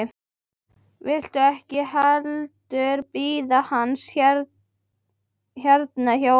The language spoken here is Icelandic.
Viltu ekki heldur bíða hans hérna hjá okkur?